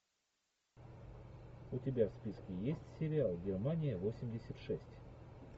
у тебя в списке есть сериал германия восемьдесят шесть